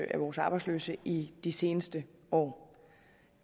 af vores arbejdsløse i de seneste år